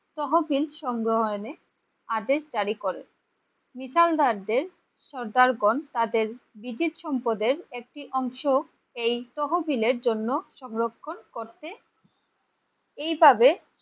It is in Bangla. তহবিল সংগ্রহের আদেশ জারি করে। মিশালগঞ্জের সর্দারগণ তাদের ব্রিটিশ সম্পদের একটি অংশ এই তহবিলের জন্য সংরক্ষণ করতে এই তবে